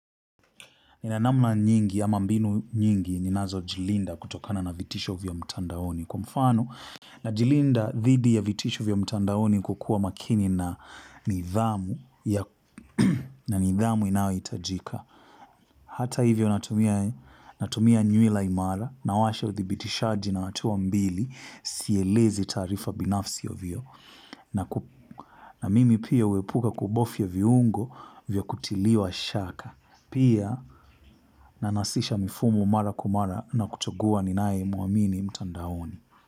Nina namna nyingi, ama mbinu nyingi, ninazo jilinda kutokana na vitisho vya mtandaoni. Kwa mfano, na jilinda dhidi ya vitisho vya mtandaoni kwa kuwa makini na nidhamu, na nidhamu inayohitajika. Hata hivyo, natumia nywila imara nawasha udhibitishaji na hatua mbili na sielezi taarifa binafsi ovyo. Na mimi pia huepuka kubofya viungo vya kutiliwa shaka. Pia na nasisha mara kwa mara na kuchagua ninayemuamini mtandaoni.